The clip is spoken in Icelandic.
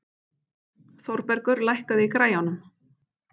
Þórbergur, lækkaðu í græjunum.